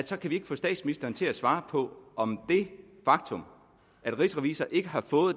så kan vi ikke få statsministeren til at svare på om det faktum at rigsrevisor ikke har fået